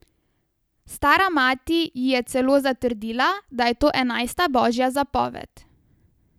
Stara mati ji je celo zatrdila, da je to enajsta božja zapoved.